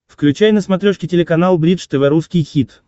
включай на смотрешке телеканал бридж тв русский хит